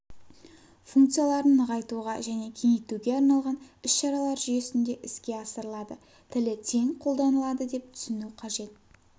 функцияларын нығайтуға және кеңейтуге арналған ісшаралар жүйесінде іске асырылады тілі тең қолданылады деп түсіну қажет